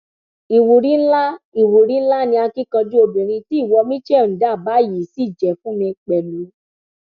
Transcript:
ìwúrí ńlá ìwúrí ńlá ni akíkanjú obìnrin tí ìwọ michelle ń dà báyìí ṣì jẹ fún mi pẹlú